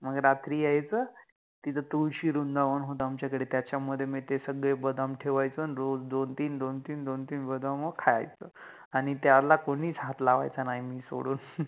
मंग रात्रि यायच, तिथे तुळशि व्रुंदावन होत आमच्याकडे त्याच्यामधे मि ते सगळे बदाम ठेवायचो आन रोज दोन तिन दोन तिन दोन तिन बदाम खायचो, त्याना कोनिच हाथ लावायचा नाहि मला सोडुन